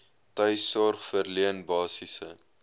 tuissorg verleen basiese